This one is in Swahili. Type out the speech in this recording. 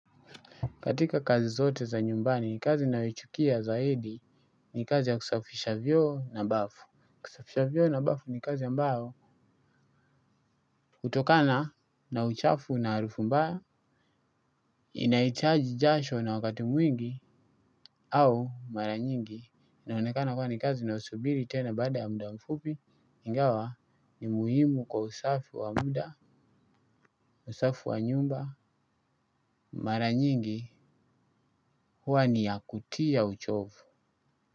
Katika kazi zote za nyumbani kazi ninayo ichukia zaidi ni kazi ya kusafisha vyoo na mbafu. Kusafisha vyoo na bafu ni kazi ambayo kutokana na uchafu na arufu mbaya. Inaitaji jasho na wakati mwingi au mara nyingi inaonekana kua ni kazi inayosubiri tena baada ya muda mfupi ingawa ni muhimu kwa usafi wa muda, usafi wa nyumba, mara nyingi huwa ni ya kutia uchofu.